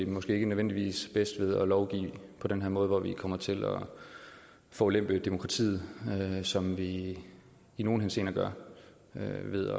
måske ikke nødvendigvis bedst ved at lovgive på den her måde hvor vi kommer til at forulempe demokratiet som vi i nogle henseender gør ved at